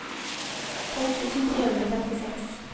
tolv tusen tre hundre og femtiseks